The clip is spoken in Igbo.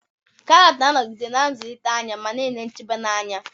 Karọt ga-anọgide na-azụlite anya ma na-enye nchebe na anya.